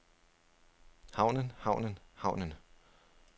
havnen havnen havnen